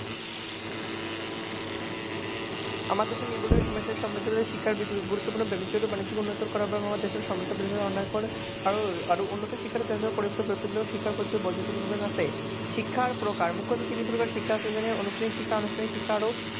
শিক্ষাৰ প্ৰকাৰ, তিনি প্ৰকাৰৰ শিক্ষা আছে তেনে আনুষ্ঠানিক শিক্ষা, আনুষ্ঠানিক শিক্ষা আৰু